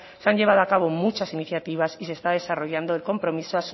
se han llevado a cabo muchas iniciativas y se está desarrollando el compromiso